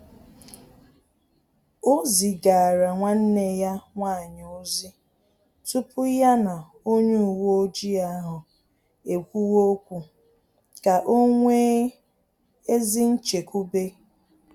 Ọ zigara nwanne ya nwanyị ozi tupu ya na onye uweojii ahụ ekwuwe okwu, ka o nwee ezi nchekwube